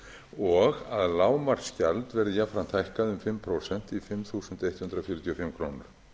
og að lágmarksgjald verði jafnframt hækkað um fimm prósent í fimm þúsund hundrað fjörutíu og fimm króna